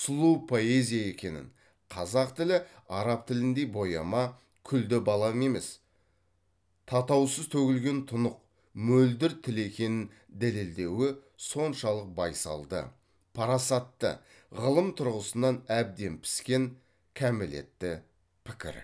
сұлу поэзия екенін қазақ тілі араб тіліндей бояма күлді балам емес татаусыз төгілген тұнық мөлдір тіл екенін дәлелдеуі соншалық байсалды парасатты ғылым тұрғысынан әбден піскен кәмелетті пікір